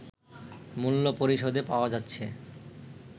মূল্য পরিশোধে পাওয়া যাচ্ছে